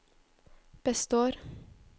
består